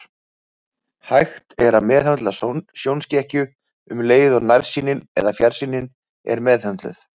Hægt er að meðhöndla sjónskekkju um leið og nærsýnin eða fjarsýnin er meðhöndluð.